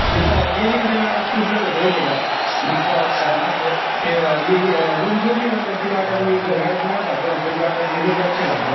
मी तव्हा gaming च्या नादात सुटलेलो होतो माहितीय का. माझं तव्हा असं ते मी अं room सोडली ना तर तिला वाटायचं कि गळ्यात माळ घालतो ना तर मी रुद्राक्ष घालतो.